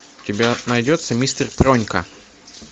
у тебя найдется мистер пронька